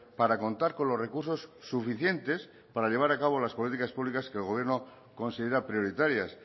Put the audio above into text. para contar con los recursos suficientes para llevar a cabo las políticas públicas que el gobierno considera prioritarias